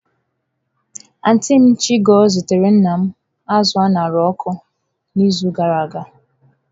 Antịị m Chigo zitara nna m azụ a ṅara n'ọkụ n'izu gara aga.